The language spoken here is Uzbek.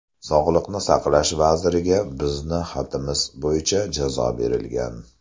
Sog‘liqni saqlash vaziriga bizni xatimiz bo‘yicha jazo berilgan.